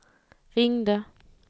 ringde